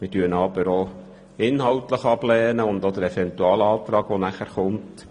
Wir lehnen diesen Antrag und auch den Eventualantrag inhaltlich ab.